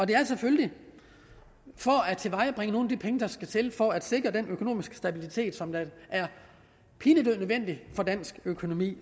det er selvfølgelig for at tilvejebringe nogle af de penge der skal til for at sikre den økonomiske stabilitet som er pinedød nødvendig for dansk økonomi